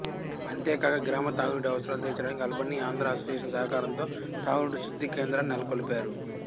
అంతేకాక గ్రామ త్రాగునీటి అవసరాలు తీర్చడానికి అల్బనీఆంధ్ర అసోసియేషన్ సహకారం తో త్రాగునీటి శుద్ధి కేంద్రాన్ని నెలకొల్పారు